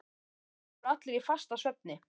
Á staðnum voru allir í fastasvefni.